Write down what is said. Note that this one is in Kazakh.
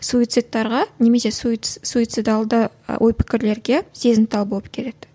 суицидтарға немесе суицидалды ой пікірлерге сезімтал болып келеді